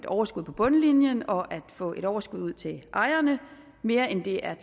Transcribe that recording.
overskud på bundlinjen og at få et overskud ud til ejerne mere end det er